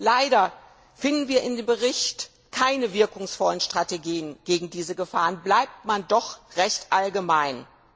Leider finden wir in dem Bericht keine wirkungsvollen Strategien gegen diese Gefahren, denn man bleibt doch recht allgemein.